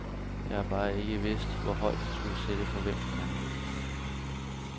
Jeg har bare ikke vidst, hvor højt jeg turde sætte forventningerne.